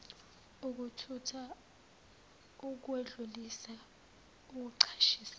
ukuthutha ukwedlulisa ukucashisa